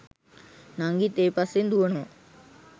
නංගිත් ඒ පස්සෙන් දූවනවා.